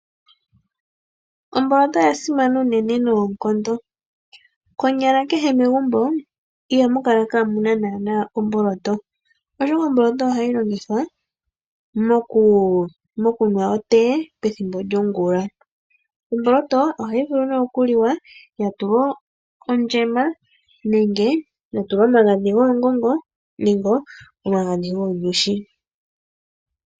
Omboloto oya simana unene noonkondo, konyala kehe megumbo ihamu kala kaamuna naanaa omboloto oshoka omboloto ohayi longithwa mokunwa otee pethimbo lyongula. Omboloto ohayi vulu nee kuliwa, yatulwa ondjema nenge omagadhi goongongo nenge omagadhi goonyushi.